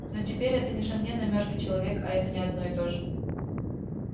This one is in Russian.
но теперь это несомненно мёртвый человек а это не одно и то же